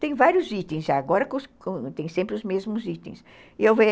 Tem vários itens, já, agora com com tem sempre os mesmos itens.